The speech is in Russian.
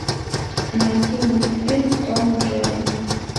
найти мультфильм том и джерри